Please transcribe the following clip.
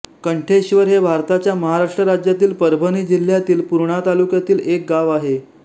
कंठेश्वर हे भारताच्या महाराष्ट्र राज्यातील परभणी जिल्ह्यातील पूर्णा तालुक्यातील एक गाव आहे